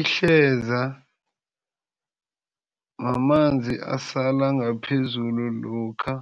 Ihleza mamanzi asala ngaphezulu lokha